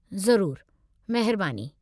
ज़रूरु, महिरबानी।